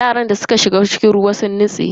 Yaran da suka shiga ruwa sun nutse.